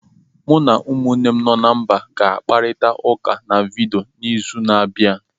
Mụ na umunnem no na mba ga-akparịta ụka na vidiyo n'izu na-abịa.